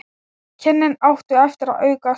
Kynnin áttu eftir að aukast.